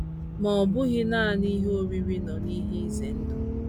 Ma ọ bụghị nanị ihe oriri nọ n’ihe ize ndụ.